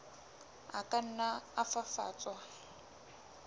a ka nna a fafatswa